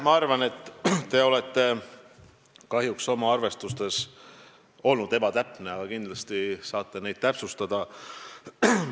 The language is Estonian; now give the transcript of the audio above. Ma arvan, et te olete kahjuks oma arvestustes olnud ebatäpne, aga kindlasti saate veel kõike täpsustada.